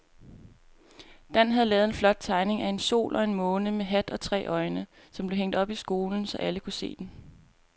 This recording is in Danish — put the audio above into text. Dan havde lavet en flot tegning af en sol og en måne med hat og tre øjne, som blev hængt op i skolen, så alle kunne se den.